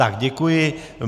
Tak, děkuji.